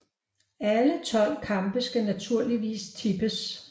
Alle 12 kampe skal naturligvis tippes